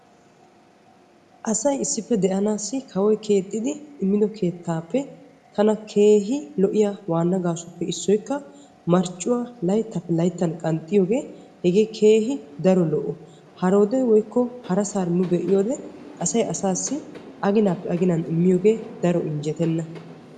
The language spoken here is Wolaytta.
Asay issippe de'anaassi kawoy keexxidi immido keettaappe tana keehi lo'iya waanna gaasoppe issoyikka marccuwa layittaappe layittankka qanxxiyogee hegee keehi daro lo'o haroode woyikko harasaara nu be'iyoode asay asaassi aginaappe aginan immiyoge daro injetenna.